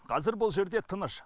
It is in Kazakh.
қазір бұл жерде тыныш